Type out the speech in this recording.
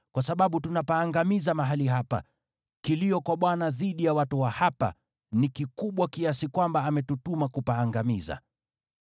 kwa sababu tunapaangamiza mahali hapa. Kilio kwa Bwana dhidi ya watu wa hapa ni kikubwa kiasi kwamba ametutuma kupaangamiza.”